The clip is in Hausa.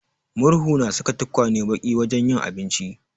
Murhu na sa tukwanen baki wajen yin abinci.